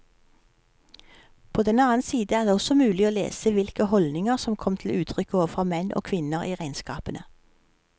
På den annen side er det også mulig å lese hvilke holdninger som kom til uttrykk overfor menn og kvinner i regnskapene.